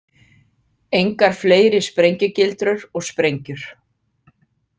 Engar fleiri sprengjugildrur og sprengjur.